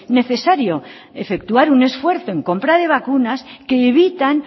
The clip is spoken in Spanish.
necesario efectuar un esfuerzo en compra de vacunas que evitan